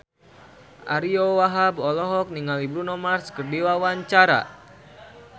Ariyo Wahab olohok ningali Bruno Mars keur diwawancara